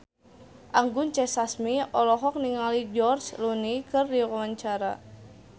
Anggun C. Sasmi olohok ningali George Clooney keur diwawancara